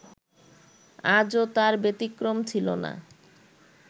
আজও তার ব্যতিক্রম ছিলনা